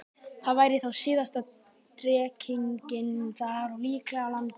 Það væri þá síðasta drekkingin þar og líklega á landinu.